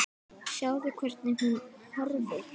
Sjáðu, hvernig hún horfir!